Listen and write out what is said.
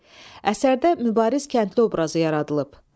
B. Əsərdə mübariz kəndli obrazı yaradılıb.